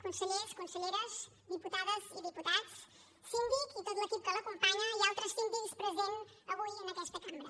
consellers conselleres diputades i diputats síndic i tot l’equip que l’acompanya i altres síndics presents avui en aquesta cambra